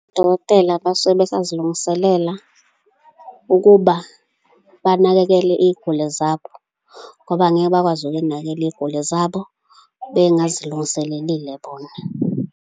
Odokotela basuke besazilungiselela ukuba banakekele iy'guli zabo, ngoba angeke bakwazi ukunakekela iy'guli zabo bengazilungiselelile bona.